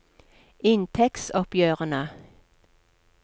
inntektsoppgjørene